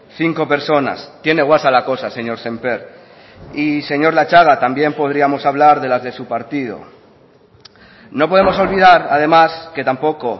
cinco personas tiene guasa la cosa señor sémper y señor latxaga también podríamos hablar de las de su partido no podemos olvidar además que tampoco